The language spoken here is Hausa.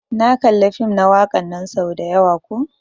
Na kalla fim na wakan nan sau dayawa ko.